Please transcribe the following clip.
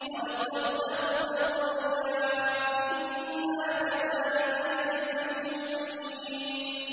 قَدْ صَدَّقْتَ الرُّؤْيَا ۚ إِنَّا كَذَٰلِكَ نَجْزِي الْمُحْسِنِينَ